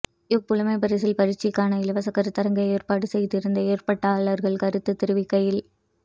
இவ் புலைமைப்பரிசில் பரீட்சைக்கான இலவச கருத்தரங்கை ஏற்பாடு செய்திருந்த ஏற்பாட்டாளர்கள் கருத்து தெரிவிக்கையில்